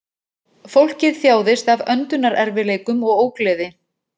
Fólkið þjáðist af öndunarerfiðleikum og ógleði